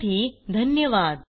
सहभागासाठी धन्यवाद